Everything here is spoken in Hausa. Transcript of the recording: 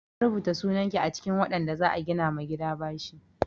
Na saka sunan ki a cikin waɗanda za a gina ma gida bashi.